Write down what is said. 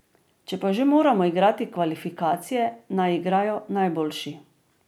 Če pa že moramo igrati kvalifikacije, naj igrajo najboljši.